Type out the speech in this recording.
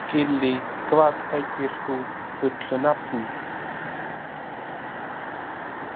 Gillý, hvað heitir þú fullu nafni?